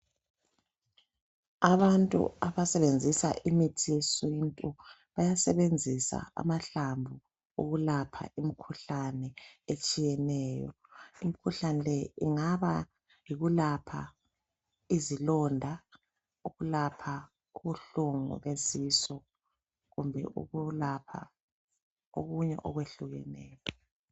Abantu abasebenzisa imithi yesintu bayasebenzisa amahlamvu ukulapha imikhuhlane etshiyeneyo imikhuhlane le ingaba yikulapha izilonda ukulapha ubuhlungu besisu kumbe ukulapha okunye okwehlukeneyo